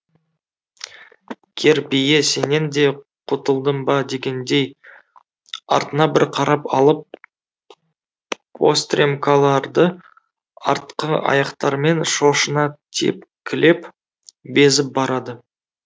кер бие сенен де құтылдым ба дегендей артына бір қарап алып постремкаларды артқы аяқтарымен шошына тепкілеп безіп барады